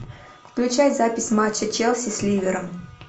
включай запись матча челси с ливером